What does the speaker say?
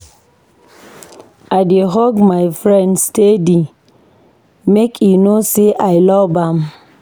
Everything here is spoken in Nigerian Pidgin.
I dey hug my friend steady make e know sey I love am.